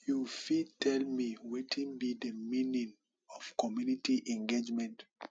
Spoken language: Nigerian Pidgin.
you fit tell me wetin be di meaning of community engagement